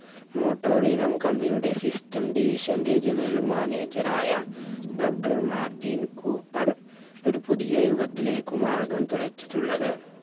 മോട്ടോറീനം company യുടെ system division ന്റെ general manager ആയ doctor മാർട്ടിൻ കൂപ്പർ ഒരു പുതിയ യുഗത്തിലേക്ക് മാർഗം തുറച്ചിട്ടുള്ളത്